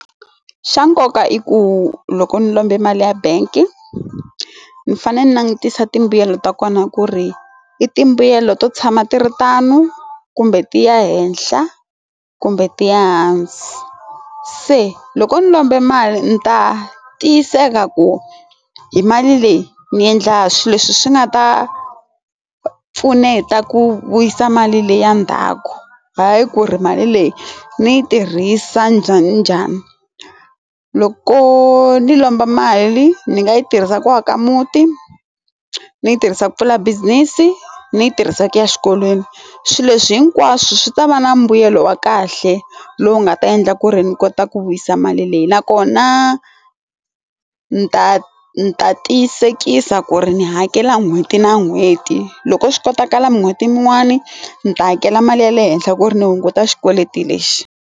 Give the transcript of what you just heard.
Xa nkoka i ku loko ni lombe mali ya bangi ni fanele ni langutisa ti mbuyelo ta kona ku ri i ti mbuyelo to tshama ti ri tano kumbe ti ya henhla kumbe ti hansi se loko ni lombe mali ni ta tiyiseka ku hi mali leyi ni endla swilo leswi swi nga ta pfuneta ku vuyisa mali leyi ya ndzhaku hayi ku ri mali leyi ni yi tirhisa njhani njhani loko ni lomba mali ni nga yi tirhisaka ka muti ni yi tirhisa ku pfula business ni yi tirhisa ku ya exikolweni swilo leswi hinkwaswo swi ta va na mbuyelo wa kahle lowu nga ta endla ku ri ni ku ni ta ku vuyisa mali leyi nakona ni ta ni ta tiyisekisa ku ri ni hakela n'hweti na n'hweti loko swi kotakala n'hweti mun'wani ni ta hakela mali ya le henhla ku ri ni hunguta xikweleti lexi.